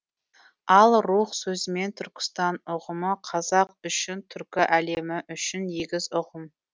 ал рух сөзімен түркістан ұғымы қазақ үшін түркі әлемі үшін егіз ұғым